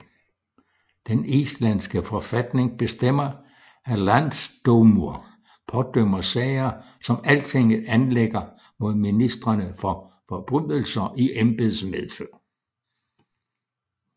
Den islandske forfatning bestemmer at Landsdómur pådømmer sager som Altinget anlægger mod ministrene for forbrydelser i embedsmedfør